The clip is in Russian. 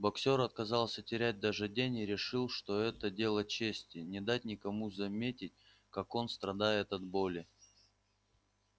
боксёр отказался терять даже день и решил что это дело чести не дать никому заметить как он страдает от боли